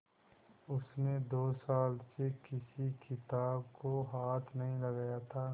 उसने दो साल से किसी किताब को हाथ नहीं लगाया था